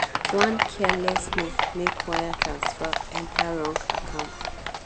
one careless move make wire transfer enter wrong account.